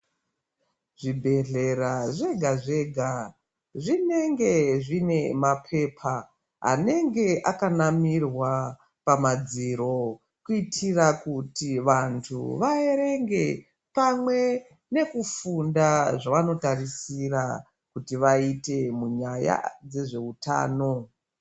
Zvibhehlera zvegazvega zvinenge zvine mapepa anenge akanamirwa pamadziro kuitira kuti vantu vaerenge pamwe nekufunda zvavanotarisira kuti vaite munyaya dzezveutano.